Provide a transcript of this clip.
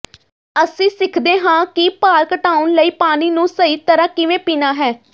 ਅਸੀਂ ਸਿੱਖਦੇ ਹਾਂ ਕਿ ਭਾਰ ਘਟਾਉਣ ਲਈ ਪਾਣੀ ਨੂੰ ਸਹੀ ਤਰ੍ਹਾਂ ਕਿਵੇਂ ਪੀਣਾ ਹੈ